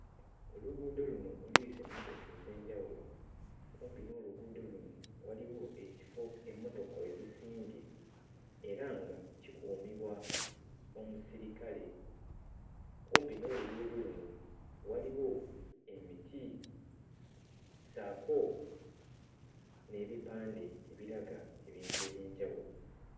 Oluguudo luno oluyisa emmotoka ez'enjawulo. Kumpi n'oluguudo luno waliwo ekifo emmotoka we zisimbye era nga kikuumibwa omusirikale kumpi n'oluguudo luno waliwo emiti ssaako n'ebipande ebiraga ebintu eby'enjawulo.